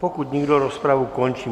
Pokud nikdo, rozpravu končím.